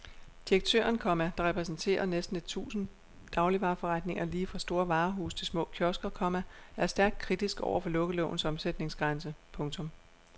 Direktøren, komma der repræsenterer næsten et tusind dagligvareforretninger lige fra store varehuse til små kiosker, komma er stærkt kritisk over for lukkelovens omsætningsgrænse. punktum